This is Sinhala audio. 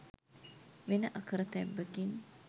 වෙන අකරතැබ්බකින්